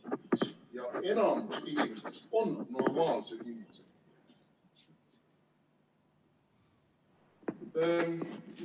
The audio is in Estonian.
Ja enamik inimesi on normaalsed inimesed.